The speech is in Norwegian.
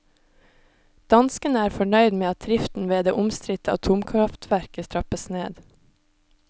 Danskene er fornøyd med at driften ved det omstridte atomkraftverket trappes ned.